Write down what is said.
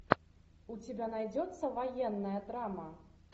у тебя найдется военная драма